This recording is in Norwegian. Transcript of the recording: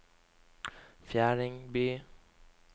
Fjerdingby